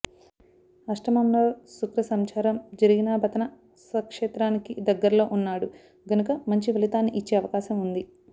అష్టమంలో శుక్రసంచారం జరిగినాబతన స్వ క్షేత్రానికి దగ్గర్లో ఉన్నాడు గనుక మంచి ఫలితాన్ని ఇచ్చే అవకాశం ఉంది